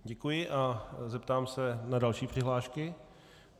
Děkuji a zeptám se na další přihlášky.